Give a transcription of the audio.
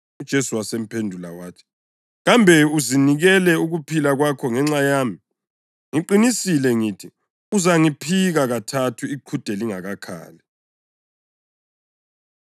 UJesu wasemphendula wathi, “Kambe uzinikele ukuphila kwakho ngenxa yami? Ngiqinisile ngithi uzangiphika kathathu iqhude lingakakhali!”